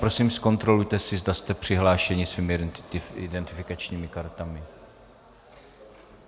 Prosím zkontrolujte si, zda jste přihlášení svými identifikačními kartami.